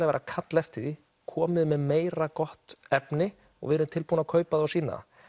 verið að kalla eftir því komið með meira gott efni við erum tilbúin að kaupa það og sýna